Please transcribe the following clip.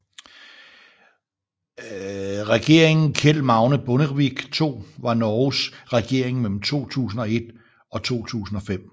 Regeringen Kjell Magne Bondevik II var Norges regering mellem 2001 og 2005